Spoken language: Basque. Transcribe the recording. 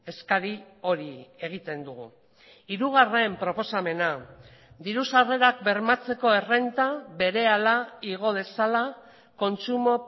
eskari hori egiten dugu hirugarren proposamena diru sarrerak bermatzeko errenta berehala igo dezala kontsumo